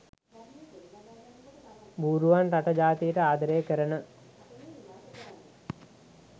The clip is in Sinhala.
බූරුවන් රට ජාතියට ආදරය කරන